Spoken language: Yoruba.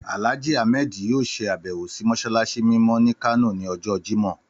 Àlájì Ahmed yóò ṣe àbẹ́wò sì mọ́ṣáláṣí mímọ́ ni Kano ni ọjọ́ Jimọh.